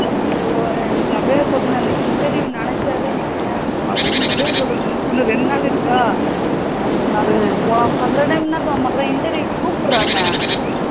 ஐயோ ஐயோ எனக்கு அப்படியே சொல்லுறது இந்த interview நினச்சாவே வச்சிகோயேன் ரொம்ப அப்படியே சொல்லுறது இன்னும் இரண்டு நாள் இருக்கா அந்த இரண்டு போலாமா சில time என்ன தோணும்னா சில time interview கூப்புடுறாங்க